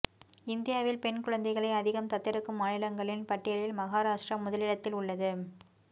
இந்தியாவில் பெண் குழந்தைகளை அதிகம் தத்தெடுக்கும் மாநிலங்களின் பட்டியலில் மகாராஷ்டிரா முதலிடத்தில் உள்ளது